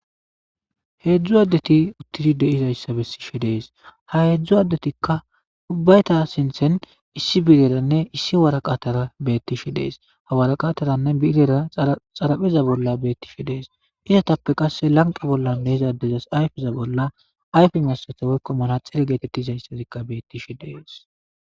Heedzdzu addeti uttidi deizayssa bessi shi dees ha heedzdzu addetikka ubbayta sinthen issi bireranne issi waraqatara beettishi dees hawaraqataranne birera xarapheza bolla beettishi dees inetappe qasse lanqa bollan beizadezas ayfeza bolla ayfe messata woykko mana xere geetettizayssazikka beettishi dees.